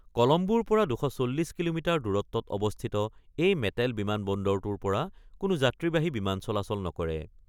কলম্বোৰ পৰা ২৪০ কিলোমিটাৰ দূৰত্বত অৱস্থিত এই মেটেল বিমান বন্দৰটোৰ পৰা কোনো যাত্ৰীবাহী বিমান চলাচল নকৰে।